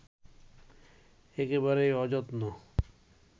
একেবারেই অযত্ন